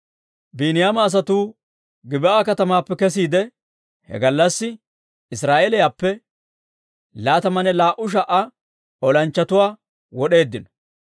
Biiniyaama asatuu Gib'aa katamaappe kesiide, he gallassi Israa'eeliyaappe laatamanne laa"u sha"a olanchchatuwaa wod'eeddino.